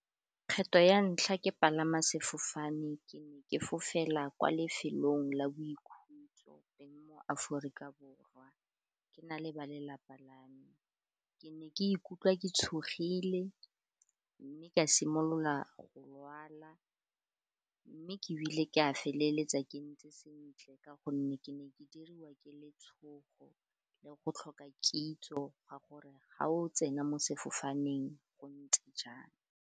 Kgetho ya ntlha ke palama sefofane ke ne ke fofela kwa lefelong la boikhutso teng mo Aforika Borwa, ke na le ba lelapa la me ke ne ke ikutlwa ke tshogile mme ka simolola go lwala, mme ke ile ke a feleletsa ke ntse sentle ka gonne ke ne ke diriwa ke letshogo le go tlhoka kitso ga gore ga o tsena mo sefofaneng go ntse jang.